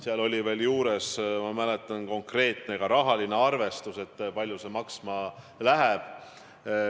Seal esitati ka, ma mäletan, konkreetne rahaline arvestus, kui palju see maksma läheb.